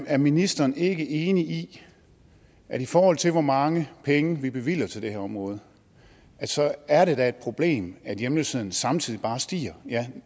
er ministeren ikke enig i at i forhold til hvor mange penge vi bevilger til det her område er det et problem at hjemløsheden samtidig bare stiger ja